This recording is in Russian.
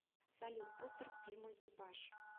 салют постер к фильму экипаж